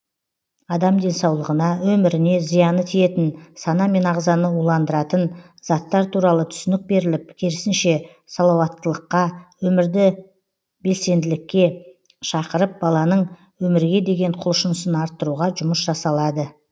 адам денсаулығына өміріне зияны тиетін сана мен ағзаны уландыратын заттар туралы түсінік беріліп керісінше салауаттылыққа өмірде белсенділікке шақырып баланың өмірге деген құлшынысын арттыруға жұмыс жасалады